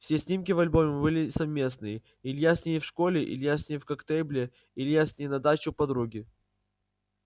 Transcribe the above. все снимки в альбоме были совместные илья с ней в школе илья с ней в коктебеле илья с ней на даче у подруги